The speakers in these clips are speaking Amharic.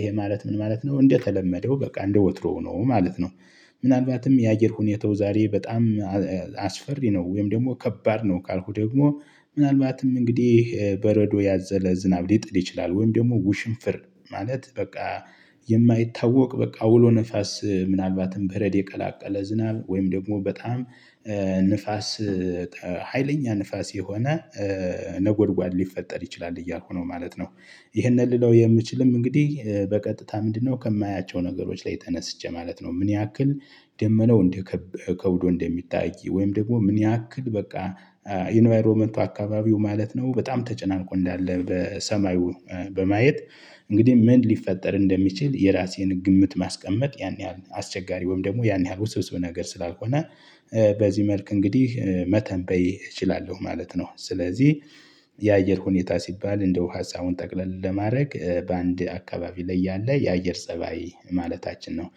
ይሄ ማለት ምን ማለት ነው? እንደተለመደው በቃ እንደወትሮው ሆኖ ማለት ነው። ምናልባትም የአገር ሁኔታው ዛሬ በጣም አስፈሪ ነው ወይም ደግሞ ከባድ ነው ካልኩ ደግሞ ምናልባትም እንግዲህ በረዶ ያዘለ ዝናብ ሊጥል ይችላል ወይም ደግሞ ውሽንፍር ማለት በቃ የማይታወቅ በቃ አውሎ ንፋስ ምናልባትም በረድ የቀላቀለ ዝናብ ወይም ደግሞ በጣም ንፋስ ሀይለኛ ንፋስ የሆነ ነጎድጓድ ሊፈጠር ይችላል እያልኩ ነው ማለት ነው። ይህንን ልለው የምችልም እንግዲህ በቀጥታ ምንድነው ከማያቸው ነገሮች ላይ ተነስቼ ማለት ነው። ምን ያክል ደመናው እንደከበ ከብዶ እንደሚታይ ወይም ደግሞ ምን ያክል በቃ ኢንቫይሮመንቱ አካባቢው ማለት ነው በጣም ተጨናንቆ እንዳለ በሰማዩ በማየት እንግዲህ ምን ሊፈጠር እንደሚችል የራሴን ግምት ማስቀመጥ ያን ያህል አስቸጋሪ ወይም ደግሞ ያን ያህል ውስብስብ ነገር ስላልሆነ በዚህ መልክ እንግዲህ መተንበይ እችላለሁ ማለት ነው። ስለዚህ የአየር ሁኔታ ሲባል እንደው ሀሳቡን ጠቅለል ለማድረግ በአንድ አካባቢ ላይ ያለ የአየር ፀባይ ማለታችን ነው።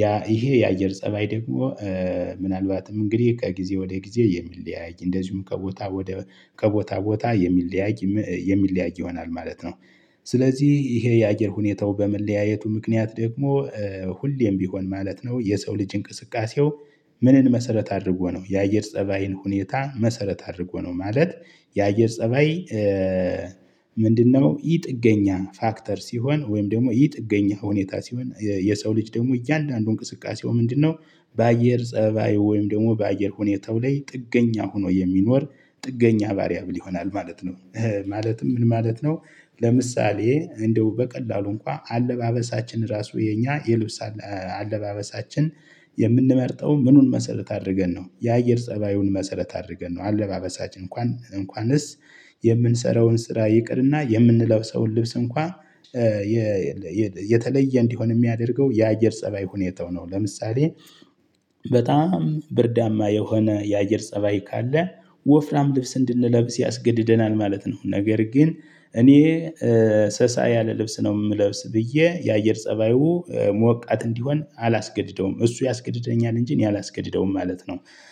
ያ ይሄ የአየር ፀባይ ደግሞ ምናልባትም እንግዲህ ከጊዜ ወደ ጊዜ የሚለያይ እንደዚሁም ከቦታ ወደ ከቦታ ቦታ የሚለያይ የሚለያይ ይሆናል ማለት ነው። ስለዚህ ይሄ የአገር ሁኔታው በመለያየቱ ምክንያት ደግሞ ሁሌም ቢሆን ማለት ነው። የሰው ልጅ እንቅስቃሴው ምንን መሰረት አድርጎ ነው? የአየር ፀባይን ሁኔታ መሰረት አድርጎ ነው ማለት። የአየር ፀባይ ምንድነው? ይህ ጥገኛ ፋክተር ሲሆን ወይም ደግሞ ይህ ጥገኛ ሁኔታ ሲሆን የሰው ልጅ ደግሞ እያንዳንዱ እንቅስቃሴው ምንድነው? በአየር ፀባዩ ወይም ደግሞ በአየር ሁኔታው ላይ ጥገኛ ሆኖ የሚኖር ጥገኛ ቫርያብል ይሆናል ማለት ነው። ማለትም ምን ማለት ነው? ለምሳሌ እንደው በቀላሉ እንኳን አለባበሳችን ራሱ የኛ የልብስ አለባበሳችን የምንመርጠው ምኑን መሰረት አድርገን ነው የአየር ፀባዩን መሰረት አድርገን ነው አለባበሳችን እንኳን እንኳንስ የምንሰራውን ስራ ይቅርና የምንለብሰውን ልብስ እንኳን። የተለየ እንዲሆን የሚያደርገው የአየር ፀባይ ሁኔታው ነው። ለምሳሌ በጣም ብርዳማ የሆነ የአየር ፀባይ ካለ ወፍራም ልብስ እንድንለብስ ያስገድደናል ማለት ነው። ነገር ግን እኔ ሰሳ ያለ ልብስ ነው የምለብስ ብዬ የአየር ፀባዩ ሞቃት እንዲሆን አላስገድደውም እሱ ያስገድደኛል እንጂ እኔ አላስገድደውም ማለት ነው።